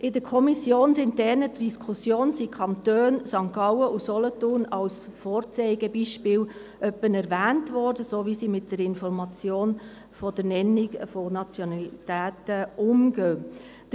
In der kommissionsinternen Diskussion wurden die Kantone St. Gallen und Solothurn als Vorzeigebeispiele erwähnt, wenn es darum ging, wie mit der Information der Nennung der Nationalität umgegangen wird.